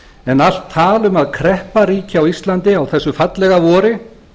en allt tal um að kreppa ríki á íslandi á þessu fallega vori